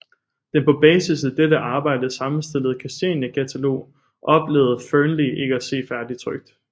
Den på basis af dette arbejde sammenstillede Kristiania katalog oplevede Fearnley ikke at se færdigtrykt